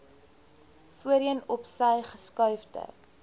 voorheen opsy geskuifde